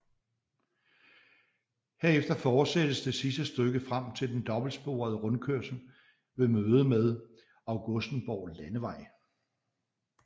Herefter fortsættes det sidste stykke frem til den dobbeltsporede rundkørsel ved mødet med Augustenborg Landevej